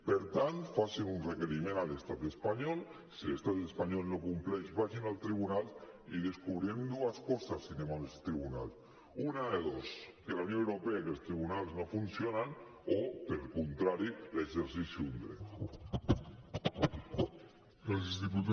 per tant facin un requeriment a l’estat espanyol si l’estat espanyol no compleix vagin al tribunal i descobrirem dues coses si anem al tribunal una de dos que a la unió europea aquests tribunals no funcionen o al contrari l’exercici d’un dret